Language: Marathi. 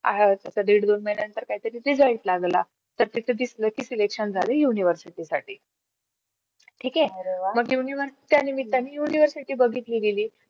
आह तस दीड महिन्या नंतर काही तरी result लागला, तर तिथे दिसलं की selection झाल university साठी ठीक मग university च्या त्यानिमित्ताने university बघितली गेली